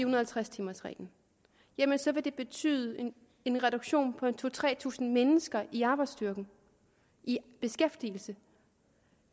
og halvtreds timers reglen så vil det betyde en reduktion på to tusind tre tusind mennesker i arbejdsstyrken i beskæftigelse